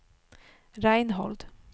Reinhold